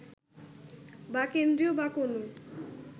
বা কেন্দ্রীয় বা কোনও